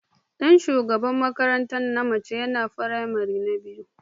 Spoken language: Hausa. Dan shugaban makaranta na mace yana firamare biyu.